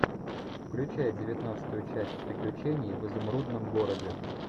включай девятнадцатую часть приключения в изумрудном городе